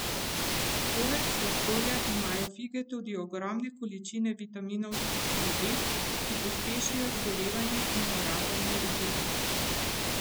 Poleg sladkorja imajo fige tudi ogromne količine vitaminov skupine B, ki pospešijo zgorevanje in porabo energije.